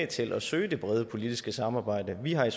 til at søge det brede politiske samarbejde vi har i